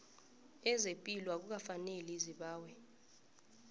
lezepilo akukafaneli zibawe